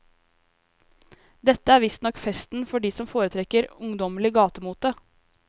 Dette er visstnok festen for de som foretrekker ungdommelig gatemote.